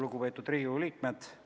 Lugupeetud Riigikogu liikmed!